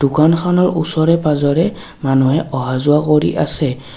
দুকানখনৰ ওচৰে-পাজৰে মানুহে অহা-যোৱা কৰি আছে।